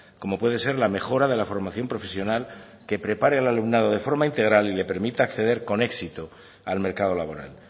como puede ser la mejora de la formación profesional que prepare al alumnado de forma integral y le permita acceder con éxito al mercado laboral